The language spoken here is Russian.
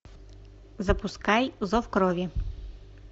запускай зов крови